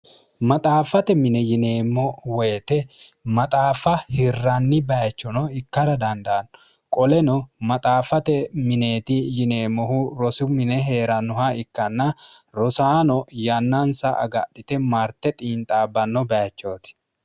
maxaaffate mine yineemmo woyite maxaaffa hirranni bayichono ikkara dandaanno qoleno maxaaffate mineeti yineemmohu rosu mine hee'rannoha ikkanna rosaano yannansa agadhite marte xiinxaabbanno bayichooti